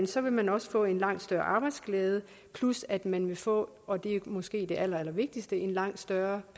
så vil man også få en langt større arbejdsglæde plus at man vil få og det er måske det allerallervigtigste en langt større